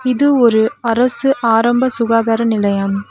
இது ஒரு அரசு ஆரம்ப சுகாதார நிலையம்.